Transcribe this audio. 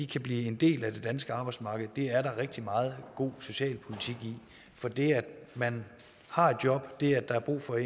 kan blive en del af det danske arbejdsmarked er der rigtig meget god socialpolitik i for det at man har et job det at der er brug for